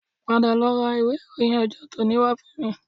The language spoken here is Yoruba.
Padà lọ ra ìwé ìròyìn ọjọ́ tòní wá fún mi